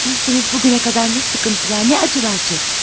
Bilsəniz bu günə qədər nə sıxıntılar, nə acılar çəkdi.